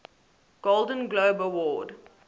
golden globe award